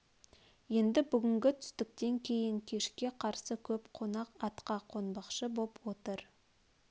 енді бүгінгі түстіктен кейін кешке қарсы көп қонақ атқа қонбақшы боп отыр